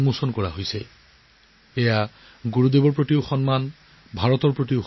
এয়াই হৈছে গুৰুদেৱৰ প্ৰতি সন্মান ভাৰতৰ প্ৰতি সন্মান